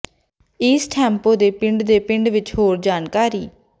East Hampton ਦੇ ਪਿੰਡ ਦੇ ਪਿੰਡ ਵਿੱਚ ਹੋਰ ਜਾਣਕਾਰੀ